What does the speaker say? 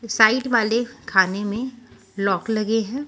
Side वाले खाने में लॉक लगे हैं।